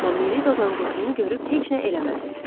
Amma Miri dozanqurdunu görüb heç nə eləmədi.